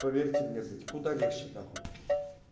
поверьте мне блять куда легче нахуй